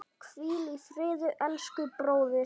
Hvíl í friði elsku bróðir.